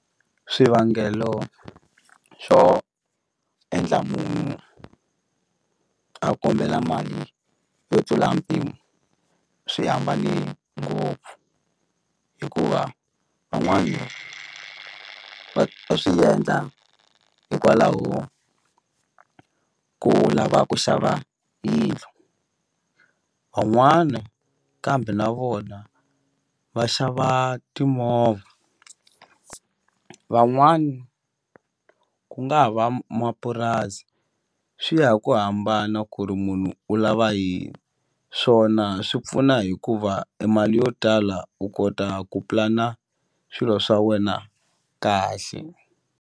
Swivangelo swo endla munhu a kombela mali yo tlula mpimo swi hambane ngopfu hikuva van'wani va va swi endla hikwalaho ko lava ku xava yindlu van'wana kambe na vona va xava timovha van'wani ku nga ha va mapurasi swi ya hi ku hambana ku ri munhu u lava yini swona swi pfuna hikuva e mali yo tala u kota ku pulana swilo swa wena kahle.